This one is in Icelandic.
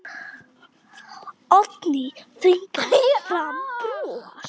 Oddný þvingar fram bros.